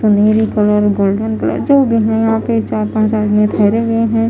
सुनहरी colour golden colour जो भी है चार पांच आदमी ठहरे हुए हैं।